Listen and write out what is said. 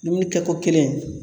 Dumuni kɛko kelen